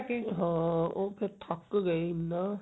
ਹਾਂ ਉਹ ਫੇਰ ਥੱਕ ਗਏ ਇੰਨਾ